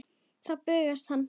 Þá bugast hann.